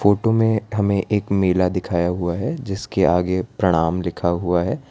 Photo में हमें एक मेला दिखाया हुआ है जिसके आगे प्रणाम लिखा हुआ है।